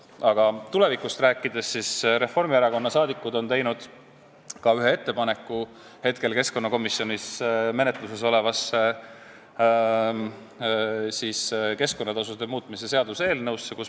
Aga tulevikust rääkides, Reformierakonna liikmed on teinud ühe ettepaneku keskkonnakomisjoni menetluses oleva keskkonnatasude muutmise seaduse eelnõu kohta.